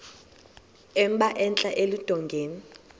emba entla eludongeni